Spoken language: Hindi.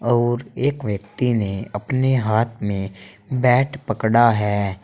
और एक व्यक्ति ने अपने हाथ में बैट पकड़ा है।